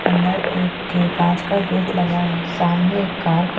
अंदर एक के कांच का गेट लगा है सामने एक कार --